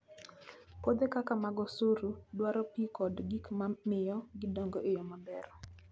Puothe kaka mag osuru dwaro pi kod gik ma miyo gidongo e yo maber.